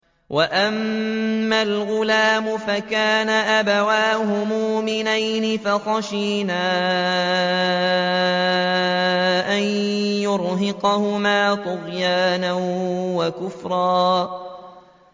وَأَمَّا الْغُلَامُ فَكَانَ أَبَوَاهُ مُؤْمِنَيْنِ فَخَشِينَا أَن يُرْهِقَهُمَا طُغْيَانًا وَكُفْرًا